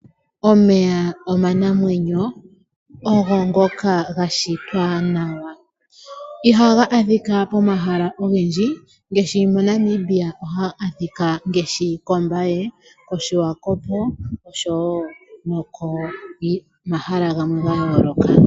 Omeya oma namwenyo ogo ngoka ga shitwa nawa iha ga adhika pomahala ogendji ngaashi moNamibia oha ga adhikwa ngaashi kOmbaye, oSwakpmund, noshowo komahala gamwe ga yooloka.